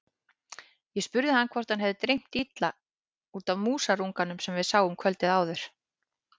Ég spurði hvort hann hefði dreymt illa út af músarunganum sem við sáum kvöldið áður.